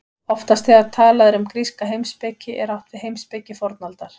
Oftast þegar talað er um gríska heimspeki er átt við heimspeki fornaldar.